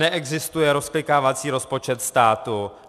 Neexistuje rozklikávací rozpočet státu.